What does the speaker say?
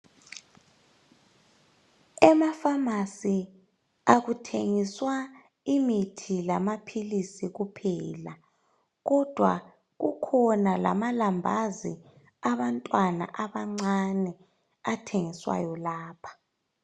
Emafamasi akuthengiswa imithi lama philisi kuphela kodwa kukhona lama lambazi abantwana abancane athengiswayo lapha.